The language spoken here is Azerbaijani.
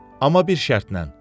Amma bir şərtlə.